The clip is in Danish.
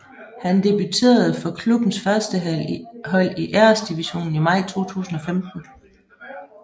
Han debuterede for klubbens førstehold i Æresdivisionen i maj 2015